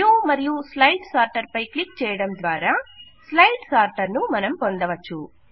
view మరియు slide sorter పై click చేయడం ద్వారా స్లైడ్ సార్టర్ ను మనం పొందవచ్చు